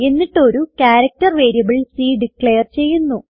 എന്നിട്ട് ഒരു character variable c declare ചെയ്യുന്നു